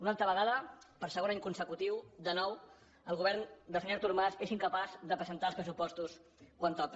una altra vegada per segon any consecutiu de nou el govern del senyor artur mas és incapaç de presentar els pressupostos quan toca